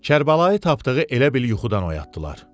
Kərbəlayı Tapdığı elə bil yuxudan oyatdılar.